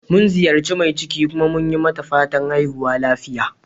Mun ziyaci mai ciki, kuma mun yi mata fatan"haihuwa lafiya."